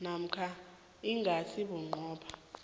namkha ingasi bunqopha